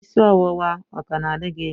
Isi ọwụwa ọ ka na-adị gị?